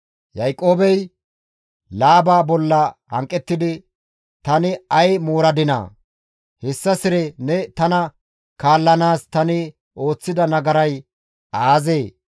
Yaaqoobey Laaba bolla hanqettidi, «Tani ay mooradinaa? Hessa sire ne tana kaallanaas tani ooththida nagaray aazee?